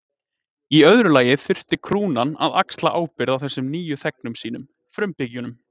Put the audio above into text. Í öðru lagi þurfti krúnan að axla ábyrgð á þessum nýju þegnum sínum, frumbyggjunum.